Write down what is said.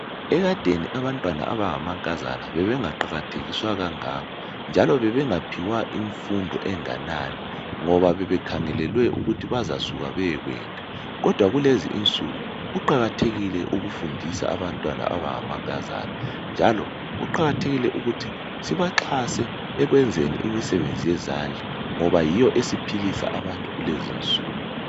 Ekadeni abantwana abanga mankazana bebengaqakathekiswa kangako njalo bebe ngaphiwa imfundo enganani ngoba bebe khangelelwe ukuthi bazasuka beye kwenda kodwa kulezi insuku kuqakathekile ukufundisa abantwana abanga mankazana njalo kuqakathekile ukuthi sibaxhase ekwenzeni imisebenzi yezandla ngoba yiyo esiphilisa abantu kulezi insuku.